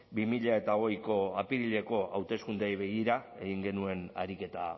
bi mila hogeiko apirileko hauteskundeei begira egin genuen ariketa